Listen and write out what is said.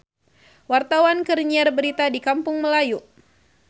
Wartawan keur nyiar berita di Kampung Melayu